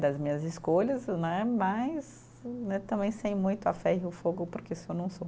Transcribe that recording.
das minhas escolhas né, mas né também sem muito a ferro e o fogo, porque isso eu não sou.